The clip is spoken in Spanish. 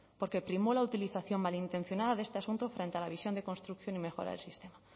porque primó la utilización malintencionada de este asunto frente a la visión de construcción y mejora del sistema